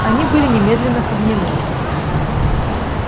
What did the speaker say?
они были немедленно казнены